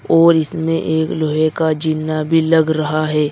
और इसमें एक लोहे का जीना भी लग रहा है।